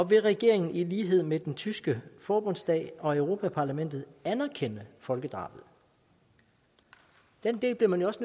vil regeringen i lighed med den tyske forbundsstat og europa parlamentet anerkende folkedrabet den del bliver man jo også